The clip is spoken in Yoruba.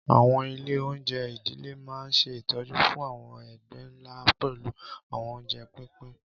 Àwọn ilé-oúnjẹ ìdílé máa ń ṣe ìtọ́jú fún àwọn ẹgbẹ́ ńlá pẹ̀lú àwọn oúnjẹ pínpín.